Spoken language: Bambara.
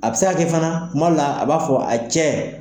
A be se ka kɛ fana , tuma dɔw la a b'a fɔ a cɛ